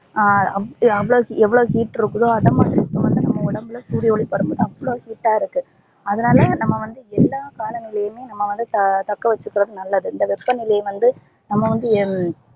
ஹம் அவ்ளோ எவ்ளோ heat இருக்குதோ சூரிய ஒலி படும் போது அவ்ளோ heat டா இருக்குது அதனால நம்ப வந்து எல்லா காலங்களிலும் நம்ப தக்கவச்சிகிறது நல்லது இந்த வெப்ப நிலை வந்து நம்ப வந்து